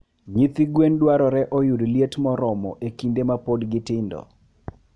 Nyithi gwen dwarore oyud liet moromo e kinde ma pod gitindo.